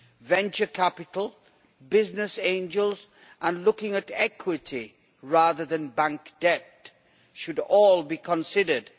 Venture capital, business angels and looking at equity rather than bank debt should all be considered.